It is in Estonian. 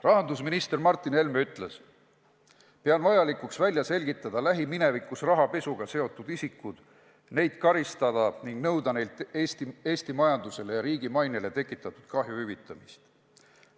Rahandusminister Martin Helme on öelnud: "Pean vajalikuks välja selgitada lähiminevikus rahapesuga seotud isikud, neid karistada ning nõuda neilt Eesti majandusele ja riigi mainele tekitatud kahju hüvitamist.